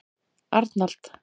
Arnald